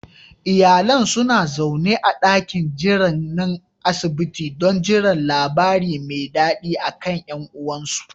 Iyalan suna zaune a dakin jiran na asibiti don jiran labari me dadi akan yan uwansu